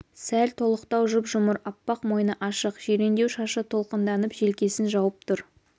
сәл толықтау жұп-жұмыр аппақ мойны ашық жирендеу шашы толқынданып желкесін жауып тұр